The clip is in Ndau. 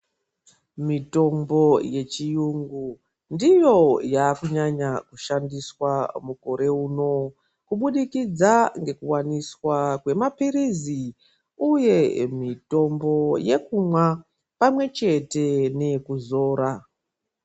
Mitombo yechiyungu ndiyo yakunyanya kushandiswa mukore uno kubudikidza ngekuwaniswa kwemapilizi uye mitombo yekumwa pamwe chete neyekuzora.